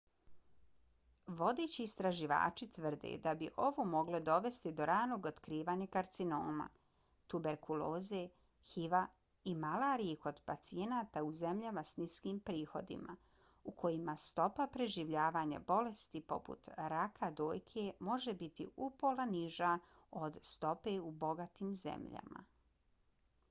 vodeći istraživači tvrde da bi ovo moglo dovesti do ranog otkrivanja karcinoma tuberkuloze hiv-a i malarije kod pacijenata u zemljama s niskim prihodima u kojima stopa preživljavanja bolesti poput raka dojke može biti upola niža od stope u bogatim zemljama